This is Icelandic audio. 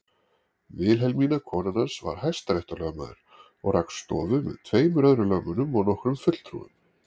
Vilhelmína konan hans var hæstaréttarlögmaður og rak stofu með tveimur öðrum lögmönnum og nokkrum fulltrúum.